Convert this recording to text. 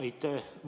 Aitäh!